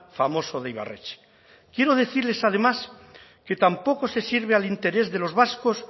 famoso de ibarretxe quiero decirles además que tampoco se sirve al interés de los vascos